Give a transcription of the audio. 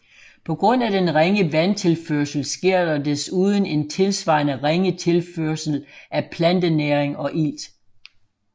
På grund af den ringe vandtilførsel sker der desuden en tilsvarende ringe tilførsel af plantenæring og ilt